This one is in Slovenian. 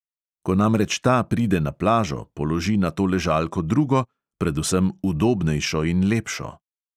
Ko namreč ta pride na plažo, položi na to ležalko drugo, predvsem udobnejšo in lepšo.